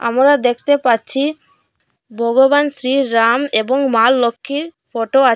আমোরা দেখতে পাচ্ছি ভগবান শ্রী রাম এবং মা লক্ষ্মীর ফটো আচ--